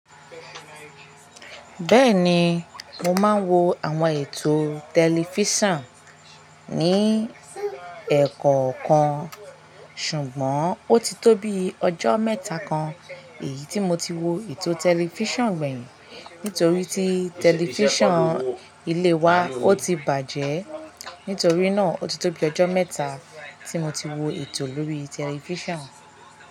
Bẹ́ẹ̀ni, mo máa ń wo àwọn ètò tẹlifíṣàn ní ẹ̀kọ̀ọ̀kan, ṣùgbọ́n ó ti tó bi ọjọ́ mẹ́ta kan èyí tí mo ti wo ètò tẹlifíṣàn gbẹ̀yìn nítorí tí tẹlifíṣàn ilé wa ó ti bàjẹ́. Nítorí náà ó ti tó bi ọjọ́ mẹ́ta tí mo ti wo ètò lórí tẹlifíṣàn.